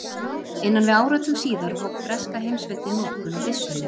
Innan við áratug síðar hóf breska heimsveldið notkun á byssunni.